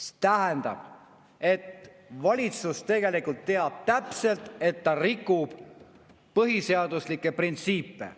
See tähendab, et valitsus tegelikult teab täpselt, et ta rikub põhiseaduslikke printsiipe.